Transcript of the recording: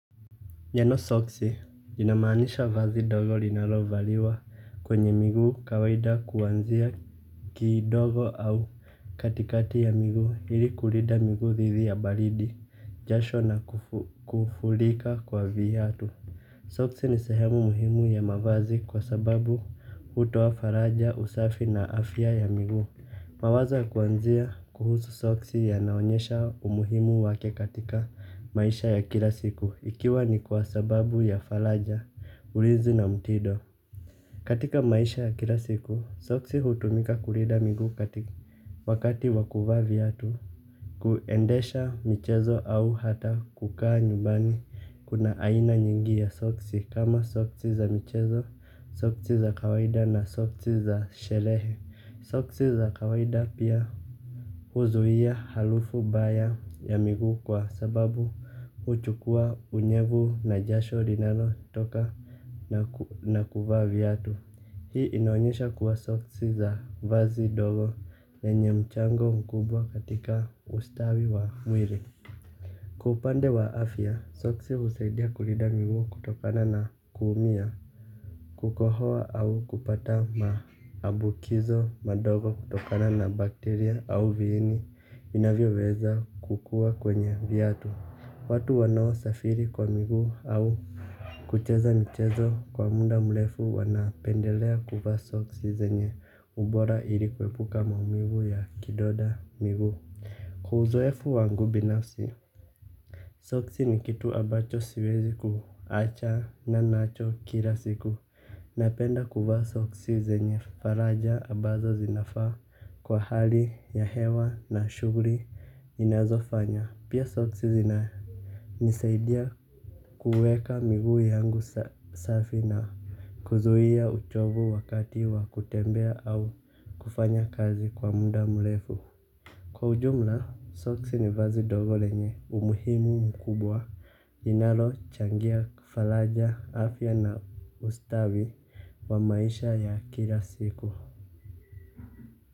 Jina soksi inamaanisha vazi ndogo linalovaliwa kwenye miguu kawaida kuanzia kidogo au katikati ya miguu ili kulinda miguu dhidi ya baridi jasho na kufurika kwa viatu. Soksi ni sehemu muhimu ya mavazi kwa sababu hutoa faraja, usafi na afya ya miguu. Mawazo ya kuanzia kuhusu soksi yanaonyesha umuhimu wake katika maisha ya kila siku ikiwa ni kwa sababu ya faraja, ulinzi na mtindo. Katika maisha ya kila siku, soksi hutumika kulinda miguu wakati wa kuvaa viatu. Kuendesha michezo au hata kukaa nyumbani kuna aina nyingi ya soksi kama soksi za michezo, soksi za kawaida na soksi za sherehe. Soksi za kawaida pia huzuia harufu mbaya ya miguu kwa sababu huchukua unyevu na jasho linalotoka na kuvaa viatu. Hii inaonyesha kuwa soksi za vazi dogo na yenye mchango mkubwa katika ustawi wa mwili. Kwa upande wa afya, soksi husaidia kulinda miguu kutokana na kuumia. Kukohoa au kupata maambukizo madogo kutokana na bakteria au viini vinavyoweza kukua kwenye viatu. Watu wanaosafiri kwa miguu au kucheza mchezo kwa muda mrefu wanapendelea kuvaa soksi zenye ubora ili kuepuka maumivu ya kidonda miguu. Kwa uzoefu wangu binafsi soksi ni kitu ambacho siwezi kuachana nacho kila siku. Napenda kuvaa soksi zenye faraja ambazo zinafaa kwa hali ya hewa na shuguli inazofanya. Pia soksi zinanisaidia kuweka miguu yangu safi na kuzuia uchovu wakati wa kutembea au kufanya kazi kwa muda mrefu. Kwa ujumla, soksi ni vazi ndogo lenye umuhimu mkubwa. Linalochangia faraja afya na ustawi wa maisha ya kila siku.